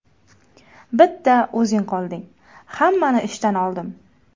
Bitta o‘zing qolding, hammani ishdan oldim.